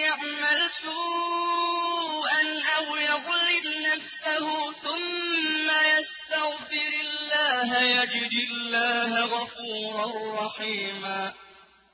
يَعْمَلْ سُوءًا أَوْ يَظْلِمْ نَفْسَهُ ثُمَّ يَسْتَغْفِرِ اللَّهَ يَجِدِ اللَّهَ غَفُورًا رَّحِيمًا